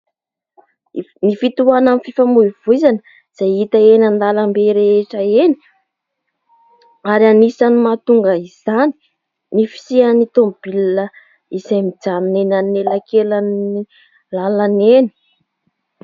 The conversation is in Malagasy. Ny fitohanan'ny fifamoivoizana izay hita eny an-dalambe rehetra eny, ary anisany mahatonga izany ny fisian'ny tômôbilina izay mijanona eny anelakelan'ny lalana eny.